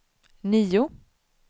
nio